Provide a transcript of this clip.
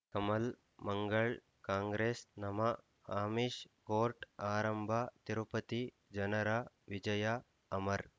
ಕಮಲ್ ಮಂಗಳ್ ಕಾಂಗ್ರೆಸ್ ನಮಃ ಅಮಿಷ್ ಕೋರ್ಟ್ ಆರಂಭ ತಿರುಪತಿ ಜನರ ವಿಜಯ ಅಮರ್